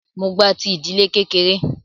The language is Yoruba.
Mó gba ti ìdílé kékeré.